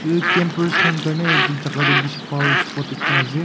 itu campers khan karne itu jaga toh bishi bhaal spot ekta ase.